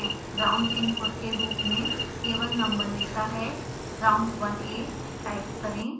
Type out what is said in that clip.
round input के रूप में केवल नंबर लेता है round1a टाइप करें